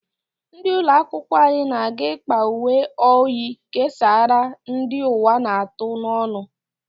Ndị ụlọ akwụkwọ anyị na-aga ịkpa uwe oyi kesaara ndi ụwa na-atụ n'ọnu.